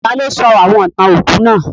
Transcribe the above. Taló sọ àwon ìtàn òkú náà?